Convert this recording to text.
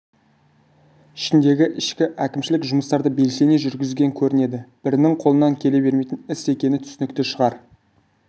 ішіндегі ішкі әкімшілік жұмыстарды белсене жүргізген көрінеді бірінің қолынан келе бермейтін іс екені түсінікті шығар